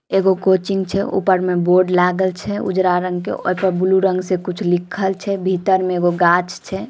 एगो कोचिंग छे ऊपर में बोर्ड लागल छे उजरा रंग के ओए पर ब्लू रंग से कुछ लिखल छे भीतर में एगो गाछ छे।